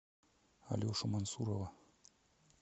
алешу мансурова